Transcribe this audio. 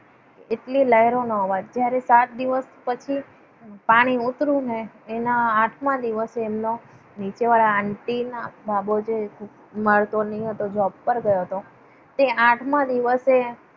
એટલી લહેરોનો અવાજ જ્યારે સાત દિવસ પછી પાણી ઉતર્યું ને એના આઠમા દિવસે એમનો નીચેવાળા આંટી એનો બાબો જે મળતો નહિ હતો. જે જોબ પર ગયો હતો તે આઠમાં દિવસે,